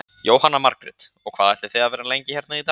Jóhanna Margrét: Og hvað ætlið þið að vera lengi hérna í dag?